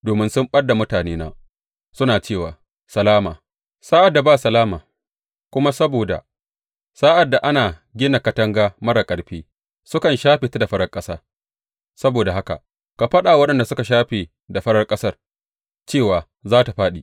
Domin sun ɓad da mutanena, suna cewa, Salama, sa’ad da ba salama, kuma saboda, sa’ad da ana gina katanga marar ƙarfi, sukan shafe ta da farar ƙasa, saboda haka ka faɗa wa waɗanda suka shafe da farar ƙasa cewa za tă fāɗi.